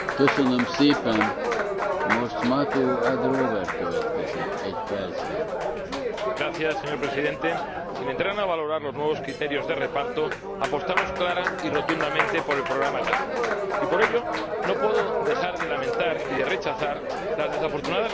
Señor Presidente, sin entrar a valorar los nuevos criterios de reparto, apostamos clara y rotundamente por el Programa Erasmus. Y por ello no puedo dejar de lamentar y de rechazar las desafortunadas manifestaciones del portavoz de la Comisaria de Educación en referencia a la posición del Gobierno de España.